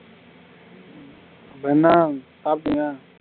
இப்ப என்ன சாப்பிட்டீயா